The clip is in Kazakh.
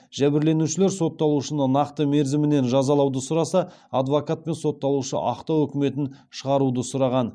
жәбірленушілер сотталушыны нақты мерзіммен жазалауды сұраса адвокат пен сотталушы ақтау үкімін шығаруды сұраған